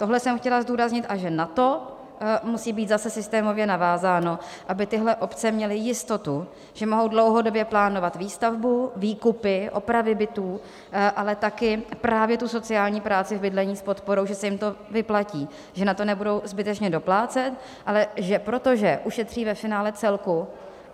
Tohle jsem chtěla zdůraznit, a že na to musí být zase systémově navázáno, aby tyhle obce měly jistotu, že mohou dlouhodobě plánovat výstavbu, výkupy, opravy bytů, ale taky právě tu sociální práci v bydlení s podporou - že se jim to vyplatí, že na to nebudou zbytečně doplácet, ale že protože ušetří ve finále celku.